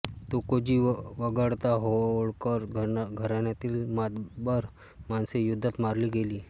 तुकोजी वगळता होळकर घराण्यातील मातब्बर माणसे युद्धात मारली गेली होती